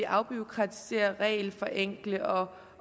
afbureaukratisere og regelforenkle og